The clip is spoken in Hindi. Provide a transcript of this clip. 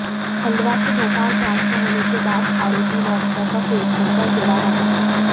खंडवा से भोपाल ट्रांसफर होने के बाद आरोपी वाट्सएप व फेसबुक पर जुड़ा रहा